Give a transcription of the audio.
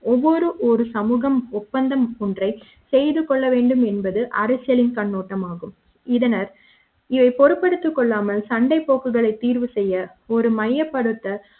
ஒவ்வொரு ஒரு சமூகம் ஒப்பந்தம் ஒன்றை செய்து கொள்ள வேண்டும் என்பது அரசியலின் கண்ணோட்டம் ஆகும் இதனர் பொறுப்பு எடுத்துக் கொள்ளாமல் சண்டை போக்குகளை தீர்வு செய்ய ஒரு மையப்படுத்த